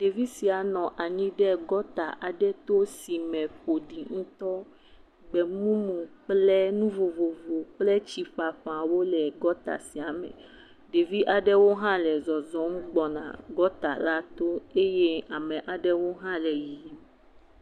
Ɖevi sia nɔ anyi ɖe gɔta aɖe to si me ƒoɖi ŋutɔ. Gbemumu kple nu vovovo kple tsi ƒaƒawo legɔta sia me. Ɖevi aɖewo hã le zɔzɔm gbɔna gɔta la to eye amewo hã le yiyim.